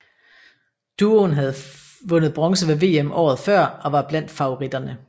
Duoen havde vundet bronze ved VM året før og var blandt favoritterne